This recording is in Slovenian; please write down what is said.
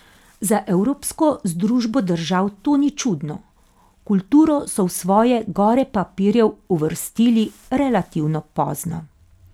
Za evropsko združbo držav to ni čudno, kulturo so v svoje gore papirjev uvrstili relativno pozno.